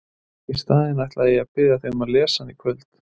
Í staðinn ætla ég að biðja þig að lesa hana í kvöld!